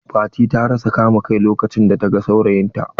Fati ta rasa kama kai lokacin da ta gan saurayin ta.